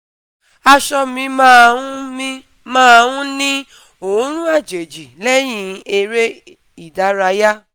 Aṣọ mi máa ń mi máa ń ní òórùn àjèjì lẹ́yìn eré ìdárayá